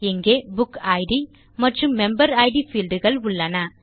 இங்கே book id மற்றும் member id fields உள்ளன